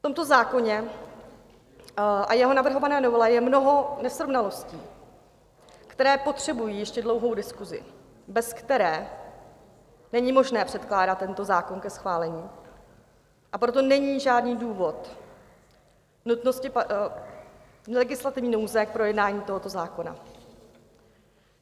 V tomto zákoně a jeho navrhované novele je mnoho nesrovnalostí, které potřebují ještě dlouhou diskusi, bez které není možné předkládat tento zákon ke schválení, a proto není žádný důvod nutnosti legislativní nouze k projednání tohoto zákona.